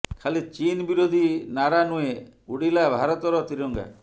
ଖାଲି ଚୀନ ବିରୋଧୀ ନାରା ନୁହେଁ ଉଡିଲା ଭାରତର ତ୍ରିରଙ୍ଗା